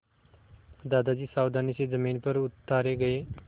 दादाजी सावधानी से ज़मीन पर उतारे गए